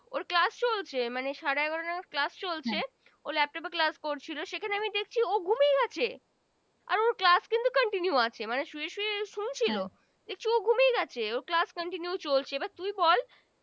ওর Class চলছে মানে আড়ে এগারো টার Class চলছে ও Laptop Class করছিলো সেখানে আমি দেখছে ও ঘুমিয়ে গেছে আর ওর Class কিন্তু Continue আছে শুয়ে শুয়ে শুনছিলও দেখছি ও ঘুমিয়ে গেছে Class Continue চলছে এবার তুই বল